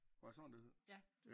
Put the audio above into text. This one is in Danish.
Var det sådan det hed